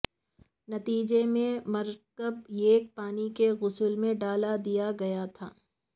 نتیجے میں مرکب ایک پانی کے غسل میں ڈال دیا گیا تھا